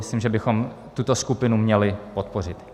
Myslím, že bychom tuto skupinu měli podpořit.